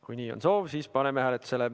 Kui nii on soov, siis paneme hääletusele.